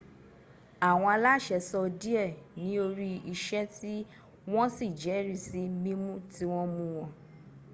àwọn aláṣẹ sọ díẹ́ níorí iṣẹ́ tí wọ́n sì jẹ́rìsí mímú tí wọ́n mú wọn